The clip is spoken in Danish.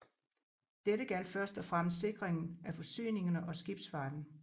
Dette gjaldt først og fremmest sikringen af forsyningerne og skibsfarten